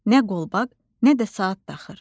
Nə qolbaq, nə də saat taxır.